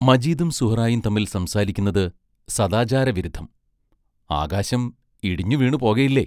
മജീദും സുഹറായും തമ്മിൽ സംസാരിക്കുന്നത് സദാചാരവിരുദ്ധം ആകാശം ഇടിഞ്ഞുവീണുപോകയില്ലേ?